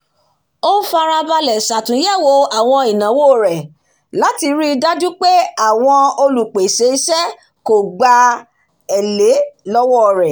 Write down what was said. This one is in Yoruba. ó fárá balẹ̀ ṣàtúnyẹ̀wò àwọn ìnáwó rẹ̀ láti rí i dájú pé àwọn olùpèsè iṣẹ́ kò gba elé lọ́wọ́ rẹ̀